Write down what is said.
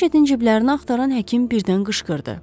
Riçetin ciblərini axtaran həkim birdən qışqırdı.